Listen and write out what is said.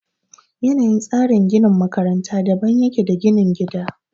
Yanayin tsarin ginin makaranta daban ya ke da na ginin gida